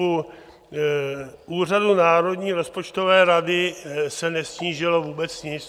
U Úřadu národní rozpočtové rady se nesnížilo vůbec nic.